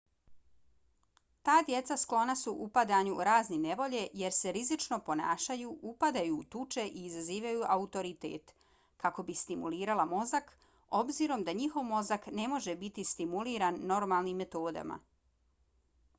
ta djeca sklona su upadanju u razne nevolje jer se rizično ponašaju upadaju u tuče i izazivaju autoritet kako bi stimulirala mozak obzirom da njihov mozak ne može biti stimuliran normalnim metodama